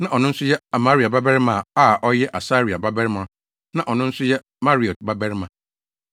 na ɔno nso yɛ Amaria babarima a ɔyɛ Asaria babarima na ɔno nso yɛ Meraiot babarima